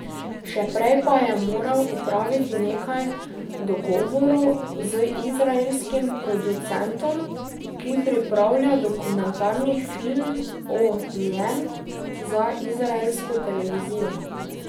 Še prej pa je moral opraviti nekaj dogovorov z izraelskim producentom, ki pripravlja dokumentarni film o njem za izraelsko televizijo.